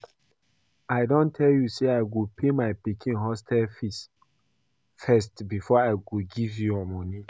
I don tell you say I go pay my pikin hostel fees first before I go give you your money